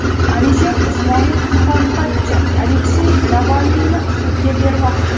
Alisher Usmonov muxolifatchi Aleksey Navalniyni sudga bermoqchi.